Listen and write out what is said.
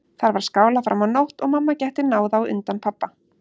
Þar var skálað fram á nótt og mamma gekk til náða á undan pabba.